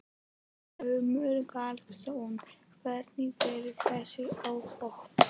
Glúmur Baldvinsson: Hvernig verða þessi óhöpp?